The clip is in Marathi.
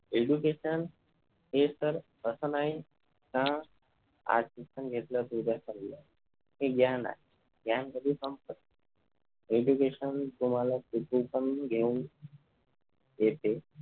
education हे तर असं नाही का आज शिक्षण घेतला तर उद्या चालल. ते ज्ञान आहे, ज्ञान कधी संपत नाही. education तुम्हाला किती पण घेऊन येते